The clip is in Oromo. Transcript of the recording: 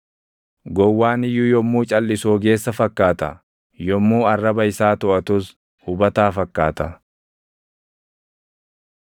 Gowwaan iyyuu yommuu calʼisu ogeessa fakkaata; yommuu arraba isaa toʼatus hubataa fakkaata.